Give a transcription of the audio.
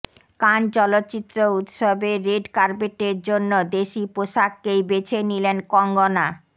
কান চলচ্চিত্র উৎসবের রেড কার্পেটের জন্য দেশি পোশাককেই বেছে নিলেন কঙ্গনা